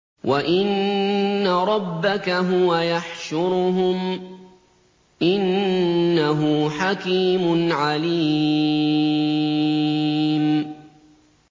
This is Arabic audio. وَإِنَّ رَبَّكَ هُوَ يَحْشُرُهُمْ ۚ إِنَّهُ حَكِيمٌ عَلِيمٌ